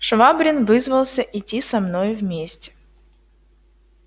швабрин вызвался идти со мною вместе